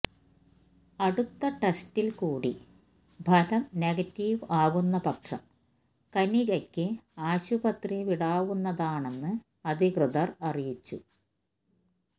അടുത്ത ടെസ്റ്റില് കൂടി ഫലം നെഗറ്റീവ് ആകുന്നപക്ഷം കനികയ്ക്ക് ആശുപത്രി വിടാവുന്നതാണെന്ന് അധികൃതര് അറിയിച്ചു